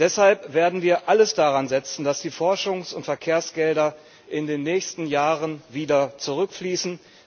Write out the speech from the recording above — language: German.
Deshalb werden wir alles daran setzen, dass die Forschungs und Verkehrsgelder in den nächsten Jahren wieder zurückfließen.